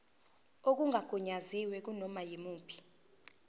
okungagunyaziwe kunoma yimuphi